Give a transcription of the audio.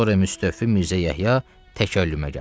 Soru Müstövfi Mirzə Yəhya təkəllümə gəldi.